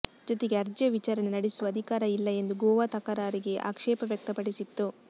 ಜೊತೆಗೆ ಅರ್ಜಿಯ ವಿಚಾರಣೆ ನಡೆಸುವ ಅಧಿಕಾರ ಇಲ್ಲ ಎಂದು ಗೋವಾ ತಕರಾರಿಗೆ ಆಕ್ಷೇಪ ವ್ಯಕ್ತಪಡಿಸಿತ್ತು